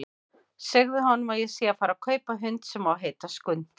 Segðu honum að ég sé að fara að kaupa hund sem á að heita Skundi!